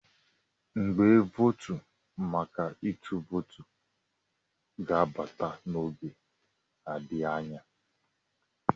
igbe vootu maka ịtụ vootu ga-abata n'oge adịghị anya